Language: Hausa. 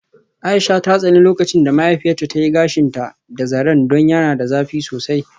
Aisha ta tsani lokacin da mahaifiyarta ta yi gashinta da zaren don yana da zafi sosai.